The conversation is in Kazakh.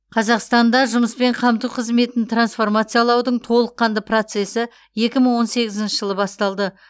қазақстанда жұмыспен қамту қызметін трансформациялаудың толыққанды процесі екі мың он сегізінші жылы басталды